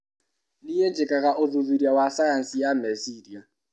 Nĩi njĩkaga ũthuthuria wa cayanici ya meciria.